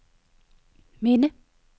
minde